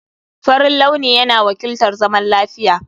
Farin launi yana wakiltar zaman lafiya.